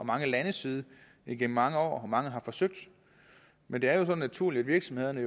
mange landes side igennem mange år og mange har forsøgt men det er jo så naturligt at virksomhederne